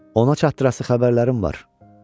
Ona çattırası xəbərlərim var.